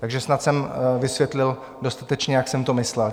Takže snad jsem vysvětlil dostatečně, jak jsem to myslel.